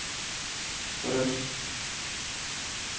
Røst